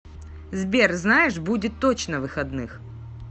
сбер знаешь будет точно выходных